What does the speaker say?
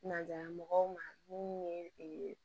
Naja mɔgɔw ma minnu ye